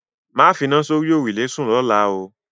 Máa fina sórí òrùlé sún lọ́la o